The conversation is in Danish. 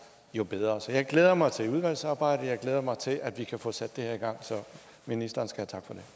jo bedre så jeg glæder mig til udvalgsarbejdet jeg glæder mig til at vi kan få sat det her i gang så ministeren skal